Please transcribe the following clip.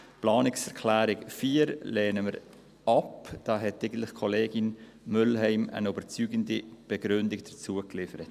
Die Planungserklärung 4 lehnen wir ab, dazu hat eigentlich Kollegin Mühlheim eine überzeugende Begründung geliefert.